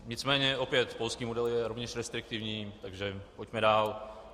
Nicméně opět, polský model je rovněž restriktivní, takže pojďme dál.